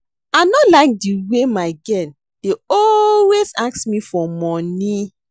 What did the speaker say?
I no like the way my girl dey always ask me for money